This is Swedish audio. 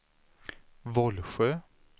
Vollsjö